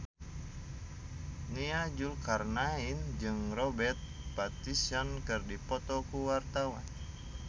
Nia Zulkarnaen jeung Robert Pattinson keur dipoto ku wartawan